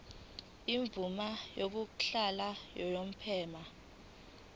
imvume yokuhlala unomphema